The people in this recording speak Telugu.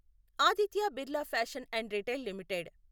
Aditya Birla fashion and retail limited